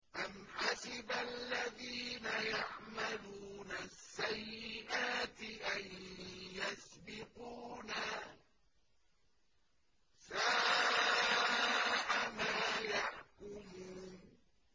أَمْ حَسِبَ الَّذِينَ يَعْمَلُونَ السَّيِّئَاتِ أَن يَسْبِقُونَا ۚ سَاءَ مَا يَحْكُمُونَ